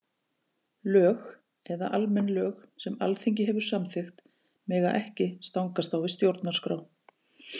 Lög eða almenn lög sem Alþingi hefur samþykkt mega ekki stangast á við stjórnarskrá.